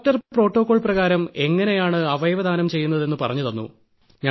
doctor protocol പ്രകാരം എങ്ങനെയാണ് അവയവദാനം ചെയ്യുന്നതെന്ന് പറഞ്ഞുതന്നു